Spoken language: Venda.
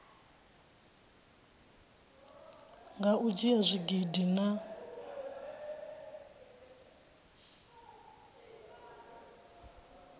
nga u dzhia zwigidi na